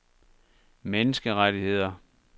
menneskerettigheder